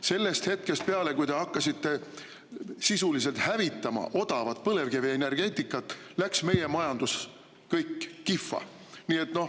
Sellest hetkest peale, kui te hakkasite sisuliselt hävitama odavat põlevkivienergeetikat, läks meie majandus kihva.